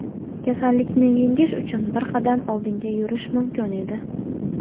kasallikni yengish uchun bir qadam oldinga yurish mumkin edi.